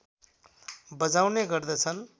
बजाउने गर्दछन्